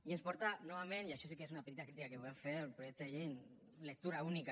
i ens el porta novament i això sí que és una petita crítica que volem fer al projecte de llei en lectura única